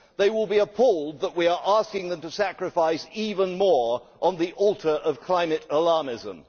They will be appalled that we are asking them to sacrifice even more on the altar of climate alarmism.